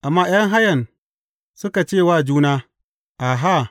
Amma ’yan hayan suka ce wa juna, Aha!